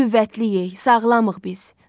Qüvvətliyik, sağlamıq biz.